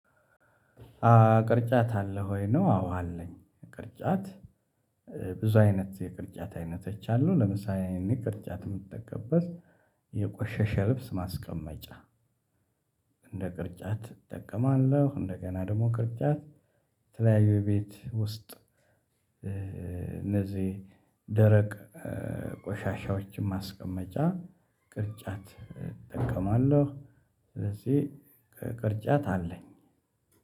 ቅርጫት አለህ ወይ ነው? አዎ አለኝ። ቅርጫት ብዙ አይነት የቅርጫት አይነቶች አሉ። ለምሳሌ እኔ ቅርጫት የምትጠቀምበት የቆሸሸ ልብስ ማስቀመጫ እንደ ቅርጫት እጠቀማለሁ። እንደገና ደግሞ ቅርጫት የተለያዩ የቤት ውስጥ እነዚህ ደረቅ ቆሻሻዎችን ማስቀመጫ ቅርጫት እጠቀማለሁ። ስለዚህ ቅርጫት አለኝ።